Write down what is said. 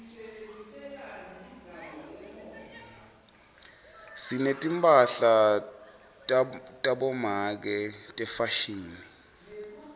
sinetimphahla tabomake tefashini